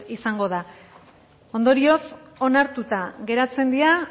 izango da ondorioz onartuta geratzen dira